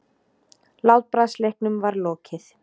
Látbragðsleiknum var lokið.